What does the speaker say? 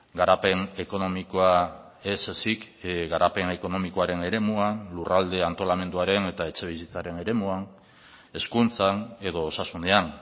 garapen ekonomikoa ez ezik garapen ekonomikoaren eremuan lurralde antolamenduaren eta etxebizitzaren eremuan hezkuntzan edo osasunean